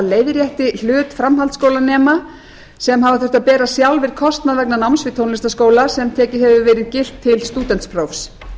leiðrétti hlut framhaldsskólanema sem hafa þurft sjálfir að bera kostnað vegna náms í tónlistarskóla sem tekið hefur verið gilt til stúdentsprófs